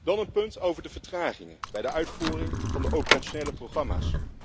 Dan een punt over de vertragingen bij de uitvoering van de operationele programma's.